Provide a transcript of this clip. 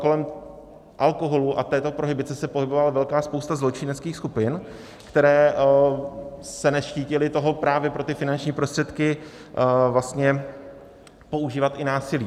Kolem alkoholu a této prohibice se pohybovala velká spousta zločineckých skupin, které se neštítily toho, právě pro ty finanční prostředky používat i násilí.